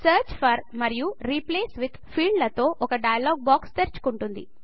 search for మరియు replace with field లతో ఒక డైలాగ్ బాక్స్ తెరుచుకుంటుంది